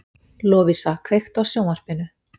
Lovísa, kveiktu á sjónvarpinu.